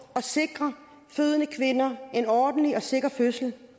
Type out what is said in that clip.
at sikre fødende kvinder en ordentlig og sikker fødsel